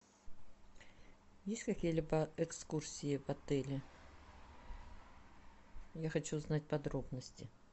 есть какие либо экскурсии в отеле я хочу узнать подробности